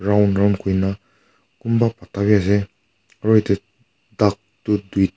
round round kori kina kunba kutta bhi ase aru duck duita.